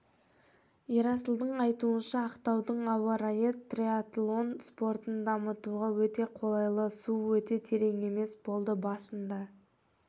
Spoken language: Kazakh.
ерасылдың айтуынша ақтаудың ауа-райы триатлон спортын дамытуға өте қолайлы су өте терең емес болды басында